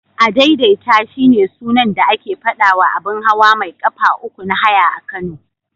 Adaidaita shine sunan da ake faɗawa abun hawa mai ƙafa uku na haya a Kano.